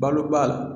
Balo ba